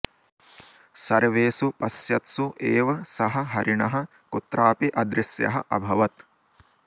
सर्वेषु पश्यत्सु एव सः हरिणः कुत्रापि अदृश्यः अभवत्